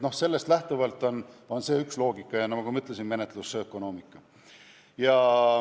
No see on üks loogika ja, nagu ma ütlesin, on oluline menetlusökonoomika.